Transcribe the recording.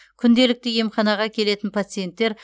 күнделікті емханаға келетін пациенттер